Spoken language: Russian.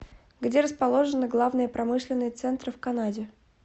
где расположены главные промышленные центры в канаде